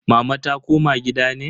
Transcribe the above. Mama ta koma gida ne?